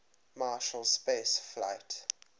marshall space flight